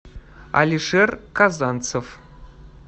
алишер казанцев